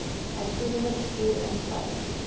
uitvoerende bestuur insluit